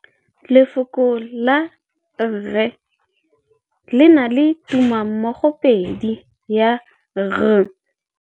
Lefoko la rre, le na le tumammogôpedi ya, r.